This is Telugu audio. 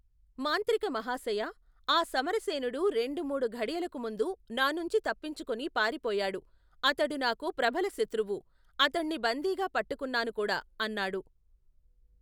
మాంత్రిక మహాశయా ఆ సమరసేనుడు రెండు మూడు ఘడియలకుముందు నానుంచి తప్పించుకుని పారిపోయాడు అతడు నాకు ప్రబలశత్రువు అతణ్ణి బంధీగా పట్టుకున్నానుకూడా అన్నాడు.